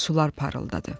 Sular parıldadı.